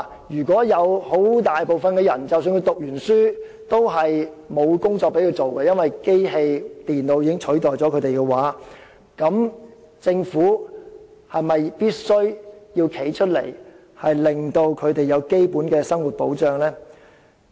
如果有很大部分的人在畢業後會因為已被機器和電腦取代而找不到工作，政府是否必須挺身為他們提供基本的生活保障？